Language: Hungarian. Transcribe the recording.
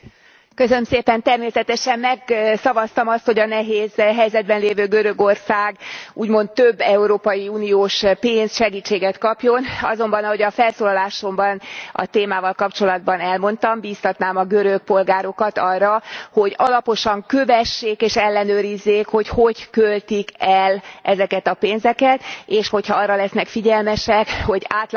Természetesen megszavaztam azt, hogy a nehéz helyzetben lévő Görögország úgymond több európai uniós pénzt, segítséget kapjon. Azonban, ahogy a felszólalásomban a témával kapcsolatban elmondtam, bíztatnám a görög polgárokat arra, hogy alaposan kövessék és ellenőrizzék, hogy hogy költik el ezeket a pénzeket, és hogyha arra lesznek figyelmesek, hogy átláthatatlan,